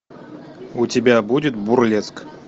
у тебя будет бурлеск